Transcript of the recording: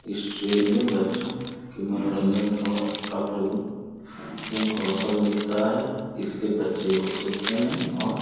इस ट्रेन में बच्चों के मनोरंजन का का प्रभु प्रमुख अवसर मिलता है इससे बच्चे खुश होते हैं और.